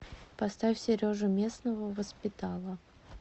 поставь сережу местного воспитала